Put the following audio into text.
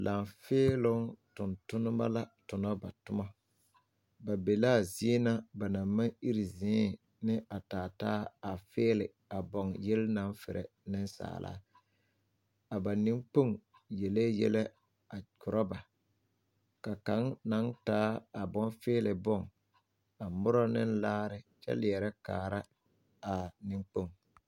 Laafeeloo tontonneba la tona ba toma ba be la a zie na ba naŋ maŋ iri zee ane a taataa a fiili a baŋ yele naŋ feɛrɛ nensaala a ba neŋkpoŋ yelee yɛlɛ a korɔ ba ka kaŋ naŋ taa a boŋ fiili boŋ a mora ne laare kyɛ leɛrɛ kaara a neŋkpoŋ.